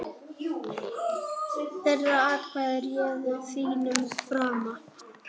Þeirra atkvæði réðu þínum frama.